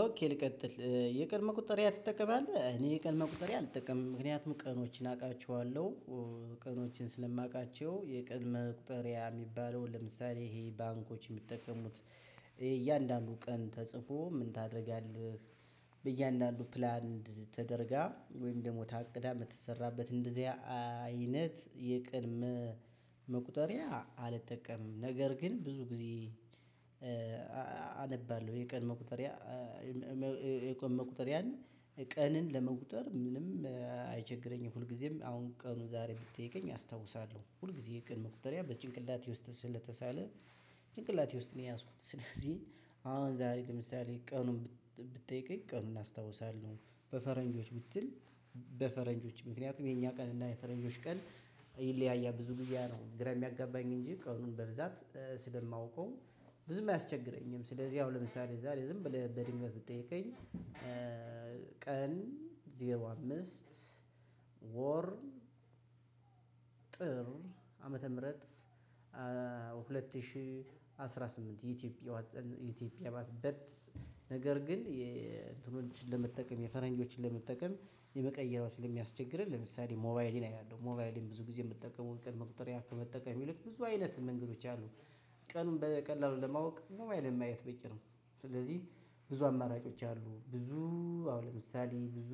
ኦኬ ልቀጥል። የቀን መቁጠሪያ ትጠቀማለህ? እኔ የቀን መቁጠሪያአልጠቀምም። ምክንያቱም ቀኖችን አውቃቸዋለሁ። ቀኖችን ስለማውቃቸው፤ የቀን መቁጠሪያ የሚባለው ለምሳሌ ይሄ ባንኮች የሚጠቀሙት እያንዳንዱ ቀን ተጽፎ ምን ታደርጋለህ? በእያንዳንዱ ፕላንድ ተደርጋ ወይም ደግሞ ታቅዳ ምተሰራበት እንደዚያ አይነት የቀን መቁጠሪያ አልጠቀምም። ነገር ግን ብዙ ጊዜ አነባለሁ። የቀን መቁጠሪያ የቀን መቁጠሪያ ቀንን ለመቁጠር ምንም አይቸግረኝም። ሁልጊዜም አሁን ቀኑ ዛሬ ብትጠይቀኝ አስታውሳለሁ። ሁልጊዜ የቀን መቁጠሪያ በጭንቅላቴ ውስጥ ስለተሳለ ጭንቅላቴ ውስጥ ነው የያዝኩት። ስለዚህ አሁን ዛሬ ለምሳሌ ቀኑን ብትጠይቀኝ ቀኑን እናስታውሳለን። በፈረንጆች ብትል በፈረንጆች። ምክንያቱም የኛ ቀንና የፈረንጆች ቀን ይለያያል። ብዙ ብዙ ጊዜ ያነው ግራ የሚያጋባኝ እንጂ ቀኑን በብዛት ስለማውቀው ብዙም አያስቸግረኝም። ስለዚህ ያው ለምሳሌ ዝም ብለህ በድንገት ብትጠየቀኝ ቀን ዜሮ አምስት ወር ጥር ዓመተ ምህረት ሁለት ሺህ አስራ ስምንት የኢትዮጵያ ነገር ግን የእንትኖችን ለመጠቀም የፈረንጆችን ለመጠቀም መቀየሩ ስለሚያስቸግረን ለምሳሌ ሞባይሌ ላይ ያለው ሞባይሌን ብዙ ጊዜ የምትጠቀመው የቀን መቁጠሪያ ከመጠቀም ይልቅ ብዙ አይነት መንገዶች አሉ። ቀኑን በቀላሉ ለማወቅ ሞባይሌን ማየት በቂ ነው። ስለዚህ ብዙ አማራጮች አሉ። ብዙ አሁን ለምሳሌ ብዙ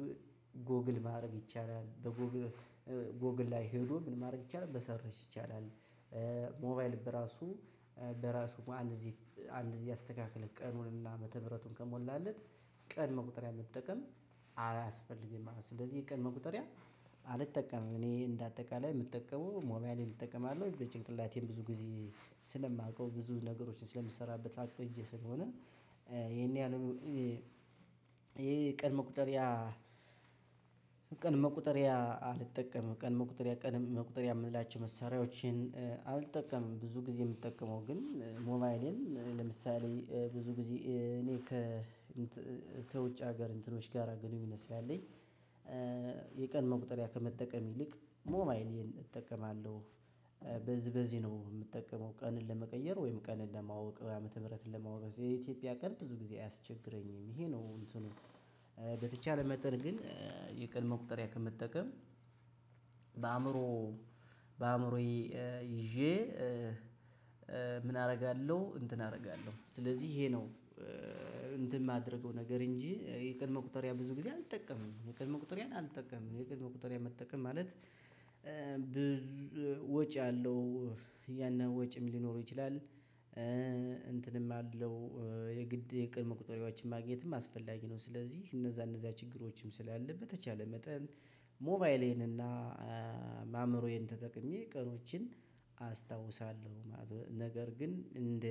ጎግል ማድረግ ይቻላል። በጎግል ላይ ሄዶ ምን ማድረግ ይቻላል በሰርሽ ይቻላል። ሞባይል በራሱ በራሱ አንድ ግዜ አንድ ጊዜ አስተካክለህ ቀኑንና ዓመተ ምህረቱን ከሞላህለት ቀን መቁጠሪያ መጠቀም ቀን መቁጠሪያ መጠቀም አላስፈልግም ማለት ነው ስለዚህ የቀን መቁጠሪያ አልጠቀምም እኔ እንደ አጠቃላይ የምጠቀመው ሞባይሌን እጠቀማለው በጭንቅላቴም ብዙ ጊዜ ስለማውቀው ብዙ ነገሮችን ስለምሰራበት አውቀው በእጄ ስለሆነ ይሄን ያህል ይሄ ቀን መቁጠሪያ ቀን መቁጠሪያ አልጠቀምም ቀን መቁጠሪያ ቀን መቁጠሪያ የምላቸው መሳሪያዎችን አልጠቀምም ብዙ ጊዜ የምጠቀመው ግን ሞባይሌን ለምሳሌ ብዙ ጊዜ እኔ ከ ከውጭ ሀገር እንትኖች ጋር ግንኙነት ስላለኝ የቀን መቁጠሪያ ከመጠቀም ይልቅ ሞባይሌን እጠቀማለሁ በዚህ ነው የምጠቀመው ቀንን ለመቀየር ወይም ቀንን ለማወቅ ዓመተ ምህረትን ለማወቅ የኢትዮጵያ ቀን ብዙ ጊዜ አያስቸግረኝም ይሄ ነው እንትኑ በተቻለ መጠን ግን የቀን መቁጠሪያ ከመጠቀም በአእምሮ በአእምሮዬ ይዤ ምን አደርጋለሁ እንትን አደርጋለሁ ስለዚህ ይሄ ነው እንትን የማደርገው ነገር እንጂ የቀን መቁጠሪያ ብዙ ጊዜ አልጠቀምም የቀን መቁጠሪያ አልጠቀምም የቀን መቁጠሪያ መጠቀም ማለት ወጪ አለው ያን ያህል ወጪም ሊኖረው ይችላል እንትንም አለው የግድ የቀን መቁጠሪያዎችን ማግኘትም አስፈላጊ ነው ስለዚህ እነዛ እነዛ ችግሮችም ስላለ በተቻለ መጠን ሞባይሌን እና አእምሮዬን ተጠቅሜ ቀኖችን አስታውሳለሁ ማለት ነው ነገር ግን እንደ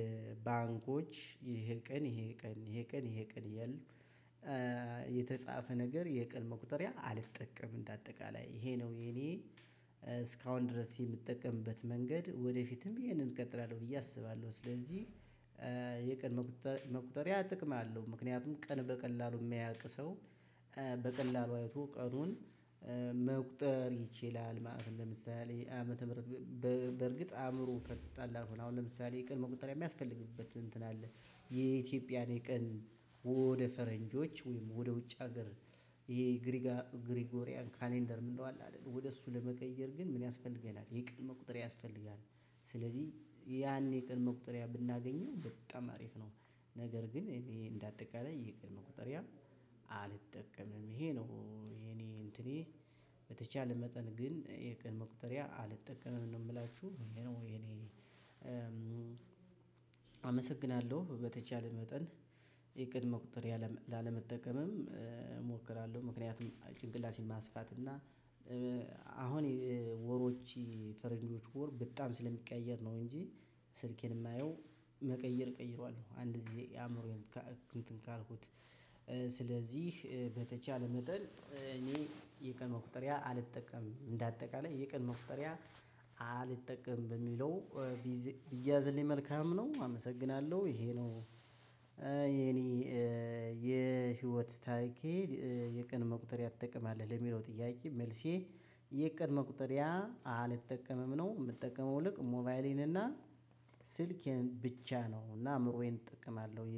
ባንኮች ይሄ ቀን ይሄ ቀን ይሄ ቀን ይሄ ቀን የለም የተጻፈ ነገር የቀን መቁጠሪያ አልጠቀምም እንደ አጠቃላይ ይሄ ነው የኔ እስካሁን ድረስ የምጠቀምበት መንገድ ወደፊትም ይሄንን እቀጥላለሁ ብዬ አስባለሁ ስለዚህ የቀን መቁጠሪያ ጥቅም አለው ምክንያቱም ቀን በቀላሉ ማያውቅ ሰው በቀላሉ አይቶ ቀኑን መቁጠር ይችላል ማለት ነው ለምሳሌ ዓመተ ምህረት በርግጥ አእምሮ ፈጣን ላልሆነ አሁን ለምሳሌ የቀን መቁጠሪያ የሚያስፈልግበት እንትን አለ የኢትዮጵያን የቀን ወደ ፈረንጆች ወይም ወደ ውጭ ሀገር ይሄ የግሪጎሪያን ካሌንደር ምንለው አለ አይደል ወደ እሱ ለመቀየር ግን ምን ያስፈልገናል የቀን መቁጠሪያ ያስፈልጋል ስለዚህ ያኔ የቀን መቁጠሪያ ብናገኘው በጣም አሪፍ ነው ነገር ግን እኔ እንደ እንዳጠቃላይ ይሄ የቀን መቁጠሪያ አልጠቀምም ይሄ ነው የኔ እንትኔ በተቻለ መጠን ግን የቀን መቁጠሪያ አልጠቀመም ነው የምላችሁ ወይ እኔ አመሰግናለሁ በተቻለ መጠን የቀን መቁጠሪያ ላለመጠቀምም እሞክራለሁ ምክንያቱም ጭንቅላቴን ማስፋት እና አሁን ወሮች ፈረንጆች ወር በጣም ስለሚቀያየር ነው እንጂ ስልኬን የማየው መቀየር ቀይረዋል አንድ ጊዜ አእምሮዬን እንትን ካልኩት ስለዚህ በተቻለ መጠን እኔ የቀን መቁጠሪያ አልጠቀምም በአጠቃላይ የቀን መቁጠሪያ አልጠቀም በሚለው ቢያዝልኝ መልካም ነው አመሰግናለሁ ይሄ ነው የኔ የህይወት ታሪኬ የቀን መቁጠሪያ ትጠቀማልህ ለሚለው ጥያቄ መልሴ የቀን መቁጠሪያ አልጠቀምም ነው የምጠቀመው ይልቅ ሞባይሌን እና ስልኬን ብቻ ነው እና አምሮዬን እጠቀማለሁ